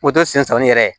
sen sanni yɛrɛ